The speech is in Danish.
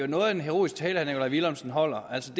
noget af en heroisk tale herre nikolaj villumsen holder altså